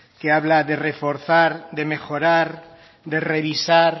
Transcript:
que habla de reforzar de mejorar de revisar